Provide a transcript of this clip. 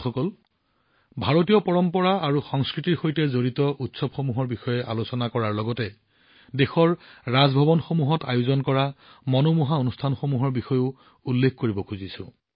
বন্ধুসকল ভাৰতীয় পৰম্পৰা আৰু সংস্কৃতিৰ সৈতে জড়িত উৎসৱসমূহৰ বিষয়ে আলোচনা কৰাৰ সময়ত দেশৰ ৰাজভৱনসমূহত অনুষ্ঠিত হোৱা আমোদজনক অনুষ্ঠানসমূহৰ বিষয়েও উল্লেখ কৰিব লাগিব